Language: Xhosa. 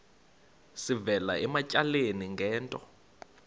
sivela ematyaleni ngento